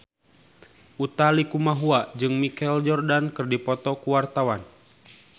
Utha Likumahua jeung Michael Jordan keur dipoto ku wartawan